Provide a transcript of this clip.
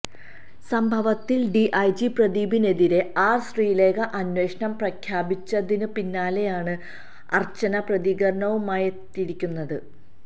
സംഭവത്തിൽ ഡിഐജി പ്രദീപിനെതിരെ ആർ ശ്രീലേഖ അന്വേഷണം പ്രഖ്യാപിച്ചതിന് പിന്നാലെയാണ് അർച്ചന പ്രതികരണവുമായെത്തിയിരിക്കുന്നത്